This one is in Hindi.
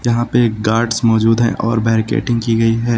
वहां पे एक गार्ड्स मौजूद हैं और बैरीकेडिंग की गई है।